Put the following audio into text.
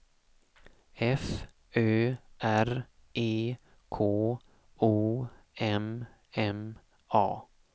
F Ö R E K O M M A